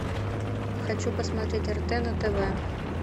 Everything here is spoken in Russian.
хочу посмотреть рт на тв